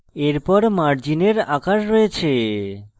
এরপর margin আকার রয়েছে